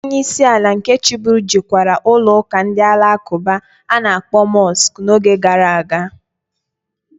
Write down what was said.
Onye isi ala nke chiburu jekwara ụlọụka ndị Alakụba a na-akpọ Mọsk n'oge gara aga.